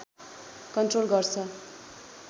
control गर्छ